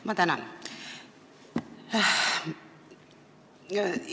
Ma tänan!